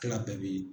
Tila bɛɛ bɛ